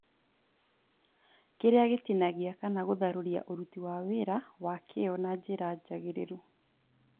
kĩrĩa gitinagia kana gũthararia ũruti wa wĩra wa kĩo na njĩra njagĩrĩru